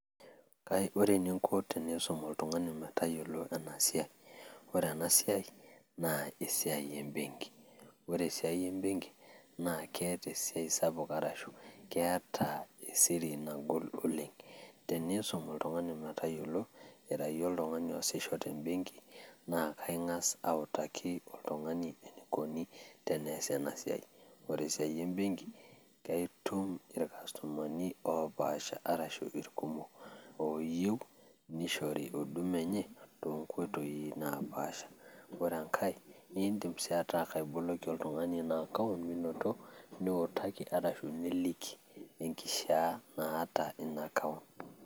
Ore eninko teniisum oltungani metsyolo enasiaai, ore enaa siaai naa esiaai embenki, ore esiaai embenki naa keeta esiaai sapuk arashu keeta esiri nagol oleng ,teneisum ltungani metayolo nitaayo oltungani oashisho te mbenki naa kaingas autaki ltungani teneasi ena siaai, ore esiaai embenki naa ituum lkastomani opaasha arashu irkumok ooyeu neishori huduma enyee to nkoitoii napaasha, ore enkae niindim sii ataa kaiboloki olrungani anaa account miinoto niutaki arashu nilik enkishaa naata ina account.